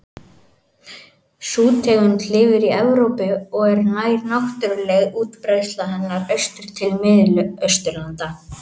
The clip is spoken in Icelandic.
Sú tegund lifir í Evrópu og nær náttúruleg útbreiðsla hennar austur til Mið-Austurlanda.